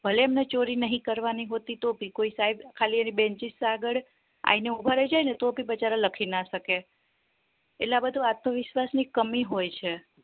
ભલે એમને ચોરી નહિ કરવાની હોતી તોહ ભી કોઈ સાહેબ એની benches આગળ આઈને ઉભા રહી જાય ને તો ભી બચારા લખી ના શકે એટલે આ બધું આત્મવિશ્વાસ ની કમી હોય છે